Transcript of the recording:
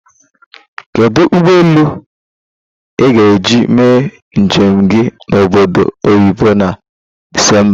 Kedu ụgbọ elu ị ga-eji mee njem gị na Obodo Oyibo na Disemba?